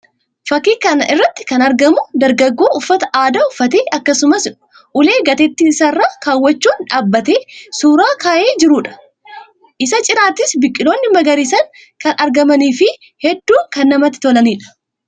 Fakkii kana irratti kan argamu dargaggoo uffata aadaa uffatee akkasumas ulee gateetti isaa irra kaawwachuun dhaabbatee suuraa ka'e jiruu dha. Isa cinattis biqiloonni magariisni kan argamanii fi hedduu kan namatti tolanii dha.